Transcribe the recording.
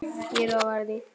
Ég lofa þér því.